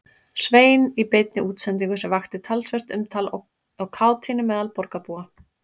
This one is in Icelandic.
Svein í beinni útsendingu sem vakti talsvert umtal og kátínu meðal borgarbúa.